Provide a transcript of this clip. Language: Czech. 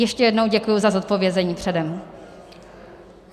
Ještě jednou děkuji za zodpovězení předem.